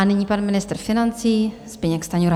A nyní pan ministr financí Zbyněk Stanjura.